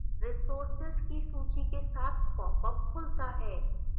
resources की सूची के साथ popअप खुलता है